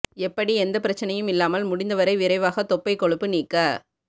எப்படி எந்த பிரச்சனையும் இல்லாமல் முடிந்தவரை விரைவாக தொப்பை கொழுப்பு நீக்க